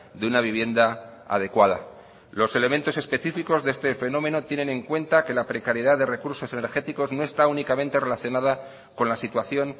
de una vivienda adecuada los elementos específicos de este fenómeno tienen en cuenta que la precariedad de recursos energéticos no está únicamente relacionada con la situación